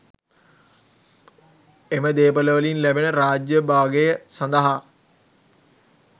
එම දේපළවලින් ලැබෙන රාජ්‍ය භාගය සඳහා